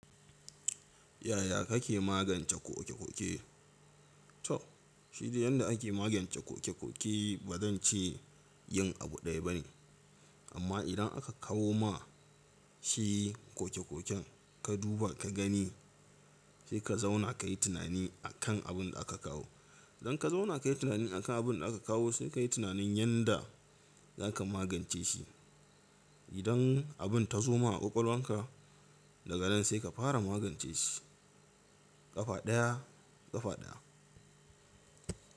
Yaya kake magance kokekoke? To shi deyanda ake magance kokekoke ba zan ce yin abu daya bane amma idan aka kawo ma shi kokekoken ka duba ka gani sai ka zauna kayi tunani akan abin da aka kawo. Dan ka zauna kayi tunani akan abin da aka kawo sai kayi tunanin yanda zaka magance shi. Idan abin ta zo ma a kwakwalwanka daga nan sai ka fara magance shi kafa daya kafa daya.